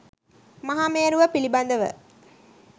මහා මේරුව පිළිබඳව